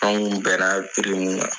An ŋun bɛra min kan